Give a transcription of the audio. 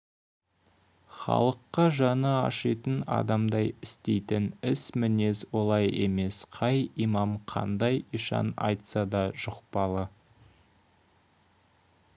халыққа жаны ашитын адамдай істейтін іс мінез олай емес қай имам қандай ишан айтса да жұқпалы